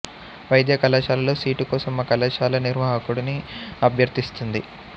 వైద్య కళాశాలలో సీటు కోసం ఆ కళాశాల నిర్వాహకుడిని అభ్యర్తిస్తుంది